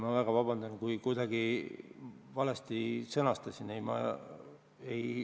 Ma väga vabandan, kui ma kuidagi valesti sõnastasin!